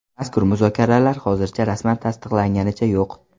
Mazkur muzokaralar hozircha rasman tasdiqlanganicha yo‘q.